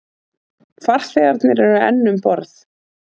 Farþegarnir eru enn um borð